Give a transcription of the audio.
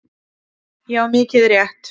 Já, mikið rétt.